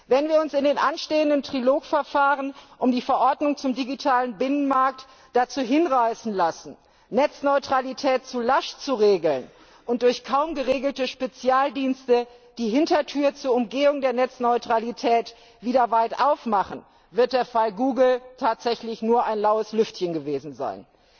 Wenn wir uns in den anstehenden Trilog Verfahren um die Verordnung zum digitalen Binnenmarktverordnung dazu hinreißen lassen, die Netzneutralität zu lasch zu regeln und durch kaum geregelte Spezialdienste die Hintertür zur Umgehung der Netzneutralität wieder weit aufmachen, wird der Fall Google tatsächlich nur ein laues Lüftchen gewesen sein.